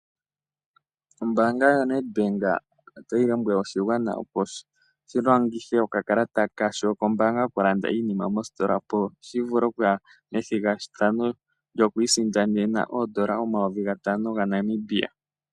Ombaanga yoNedbank otayi lombwele oshigwana, opo shi longithe okakalata kasho kombaanga okulanda iinima moositola, opo shi vule okuya methigathano lyoku isindanena N$ 5000.